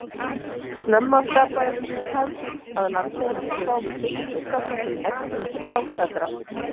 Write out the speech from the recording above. Snemma skapaðist sú hefð að landeigendur gáfu fimmtung af þessum eggjum til bágstaddra.